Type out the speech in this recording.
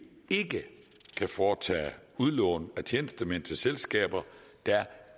ikke kan foretage udlån af tjenestemænd til selskaber der